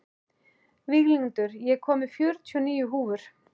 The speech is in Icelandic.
Víglundur, ég kom með fjörutíu og níu húfur!